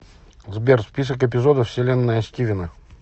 сбер список эпизодов вселенная стивена